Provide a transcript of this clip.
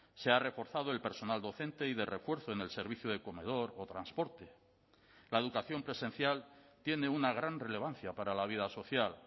se ha reforzado el personal docente y de refuerzo en el servicio de comedor o transporte la educación presencial tiene una gran relevancia para la vida social